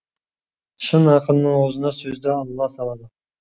шын ақынның аузына сөзді алла салады